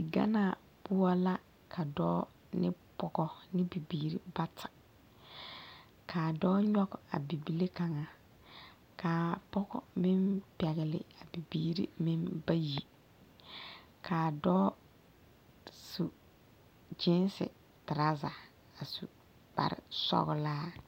Ganaa poɔ la ka dɔɔ ne pɔgɔ ne bibiiri bata kaa dɔɔ nyɔge a bibile kaŋa kaa pɔgɔ meŋ pɛgle a bibiiri meŋ bayi kaa dɔɔ su gyiise teraaza a su kparresɔglaa.